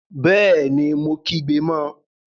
Bẹẹni, Mo kígbe mọ